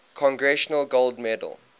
congressional gold medal